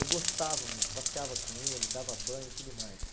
Eu gostava mesmo, passeava com ele, dava banho e tudo mais.